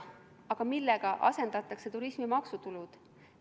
Aga millega asendatakse turismi maksutulud?